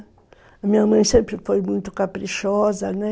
A minha mãe sempre foi muito caprichosa, né?